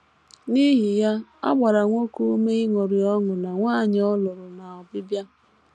N’ihi ya, a gbara nwoke ume ịṅụrị ọṅụ na nwanyị ọ lụrụ n’Obibịa.